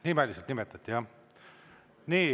Nimeliselt nimetati jah.